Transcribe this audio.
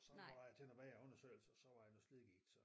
Så var jeg til noget mere undersøgelse og så var det noget slidgigt så